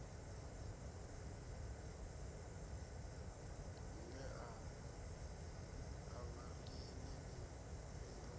ngea a vhaleni ni fhindule